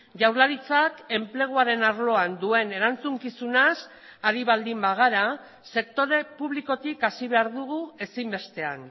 jaurlaritzak enpleguaren arloan duen erantzukizunaz ari baldin bagara sektore publikotik hasi behar dugu ezinbestean